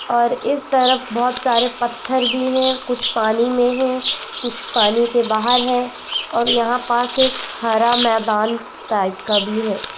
और इस तरफ बहोत सारे पत्थर भी हैं कुछ पानी में हैं कुछ पानी के बाहर हैं और यहां पास एक हरा मैदान टाईप का भी है।